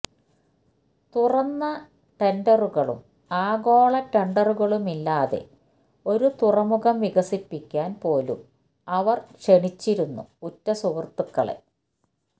തുറന്ന ടെന്ഡറുകളും ആഗോള ടെന്ഡറുകളുമില്ലാതെ ഒരു തുറമുഖം വികസിപ്പിക്കാന് പോലും അവര് ക്ഷണിച്ചിരുന്നു ഉറ്റ സുഹൃത്തുക്കളെ